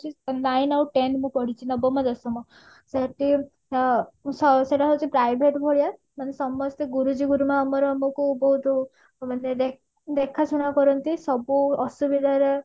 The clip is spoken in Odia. nine ଆଉ ten ବି ପଢିଛି ନବମ ଦଶମ ସେଠି ହଁ ସେଟା ହଉଛି private ଭଳିଆ ମାନେ ସମସ୍ତେ ଗୁରୁଜୀ ଗୁରୁମା ଆମର ଆମକୁ ବହୁତ ଦେଖା ଶୁଣା କରନ୍ତି ସବୁ ଅସୁବିଧାରେ